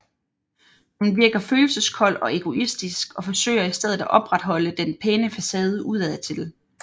Hun virker følelseskold og egoistisk og forsøger i stedet at opretholde den pæne facade ud ad til